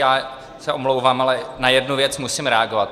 Já se omlouvám, ale na jednu věc musím reagovat.